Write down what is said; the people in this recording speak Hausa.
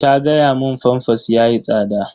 Ta gaya mun famfas yayi tsada.